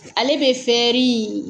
Ale bɛ fɛɛri